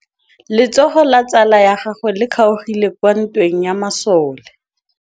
Letsôgô la tsala ya gagwe le kgaogile kwa ntweng ya masole.